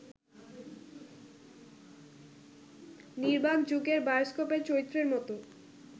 নির্বাক যুগের বায়স্কোপের চরিত্রের মতো